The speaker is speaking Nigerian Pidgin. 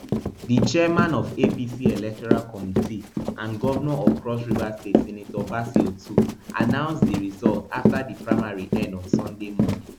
di chairman of apc electoral committee and govnor of cross river state senator bassey otu announce di result afta di primary end on sunday morning